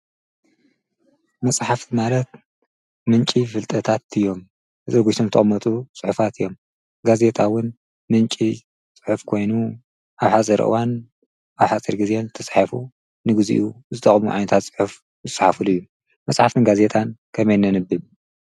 መጽሕፍ ዝማረት ምንቂ ፍልጠታት እዮም ። ዘርጐሽቶም ተመቱ ጽሒፋት እዮም። ጋዜታውን ምንቂ ጽሕፍ ኮይኑ ኣብ ኃዘርእዋን ኣብሓፀር ጊዜን ዘተስሒፉ ንጊዜኡ ዝተቕሙ ዓንታት ጽሑፍ ምስሓፉሉ እዩ መጽሓፍ ንጋዜታን ከመይ ነንብብ?